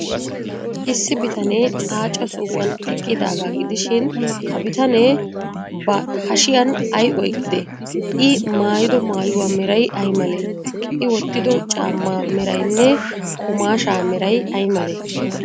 Issi bitanee aaca sohuwan eqqidaagaa gidishin, ha bitanee ba hashiyan ay oyqqidee?I maayido maayuwaa meray ay malee? I wottido caammaa meraynne qumaashshaa meray ay malee?